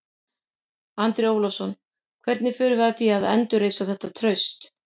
Andri Ólafsson: Hvernig förum við að því að endurreisa þetta traust?